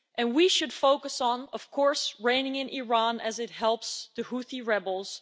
We should focus, of course, on reining in Iran as it helps the Houthi rebels.